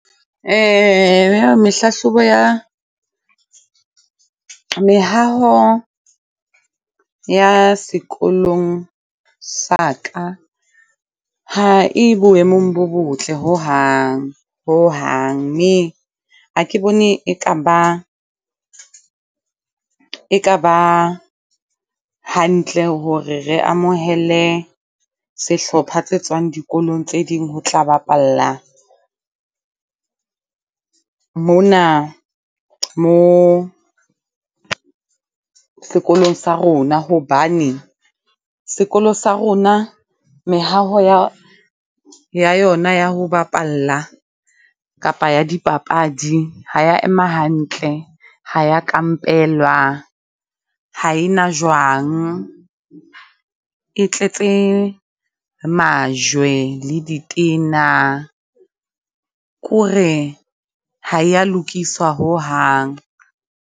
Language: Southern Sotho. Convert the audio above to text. Ya mehlahlobo ya mehaho ya sekolong sa ka ha e boemong bo botle hohang, hohang. Mme ha ke bone e ka ba e ka ba hantle hore re amohele sehlopha tse tswang dikolong tse ding ho tla bapalla mona mo sekolong sa rona. Hobane sekolo sa rona mehato ya, ya yona ya ho bapalla kapa ya dipapadi ha ya ema hantle, ha ya kampelwa, ha e na jwang. E tletse majwe le ditena ko re ha ya lokiswa hohang.